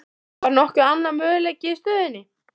Var nokkur annar möguleiki í stöðunni?